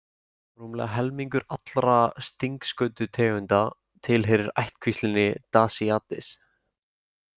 Rúmlega helmingur allra stingskötutegunda tilheyrir ættkvíslinni Dasyatis.